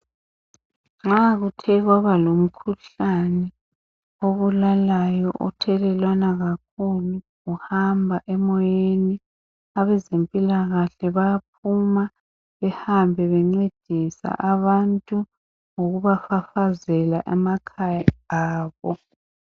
Nxa kuthe kwaba lomkhuhlane obulalayo othelelwana kakhulu uhamba emoyeni abezempilakahle bayaphuma behambe bencedisa abantu ngokubafafazela emakhaya abo.